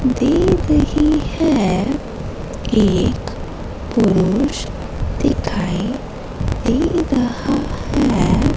दे रही है एक पुरुष दिखाई दे रहा हैं।